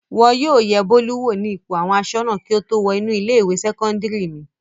Wọn yóò yẹ Bólú wò ní ipò àwọn aṣọ́nà kí ó tó wọ inú ilé-ìwé sẹ́kọ́ndárì mi.